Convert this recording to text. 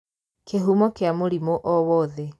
Kĩhumo kĩa mũrimũ o wothe